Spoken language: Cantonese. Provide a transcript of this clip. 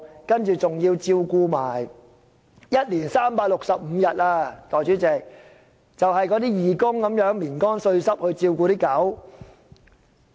代理主席，一年365天，就是義工們"眠乾睡濕"地照顧狗隻。